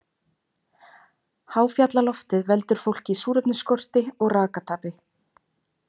Háfjallaloftið veldur fólki súrefnisskorti og rakatapi.